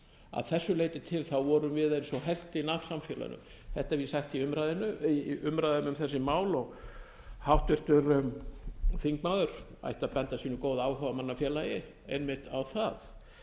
að þessu leyti til vorum við eins og helftin af samfélaginu þetta hef ég sagt í umræðum um þessi mál og háttvirtur þingmaður ætti að benda sínu góða áhugamannafélagi einmitt á það